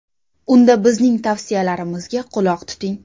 Unda bizning tavsiyalarimizga quloq tuting.